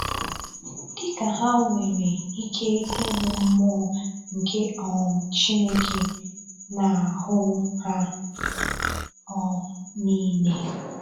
Dị ka ha nwere ike ịhụ mmụọ nke um Chineke n'ahu ha um niile!!